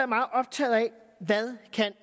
meget optaget af hvad